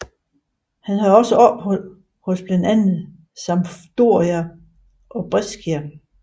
Han havde også ophold hos blandt andet Sampdoria og Brescia